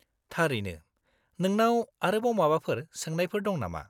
-थारैनो! नोंनाव आरोबाव माबाफोर सोंनायफोर दं नामा?